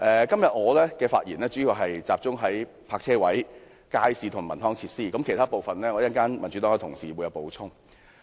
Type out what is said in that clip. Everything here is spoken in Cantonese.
今天，我的發言主要集中討論泊車位、街市和文康設施，民主黨其他議員稍後會就其他部分作出補充。